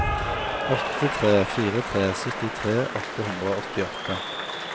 åtte tre fire tre syttitre åtte hundre og åttiåtte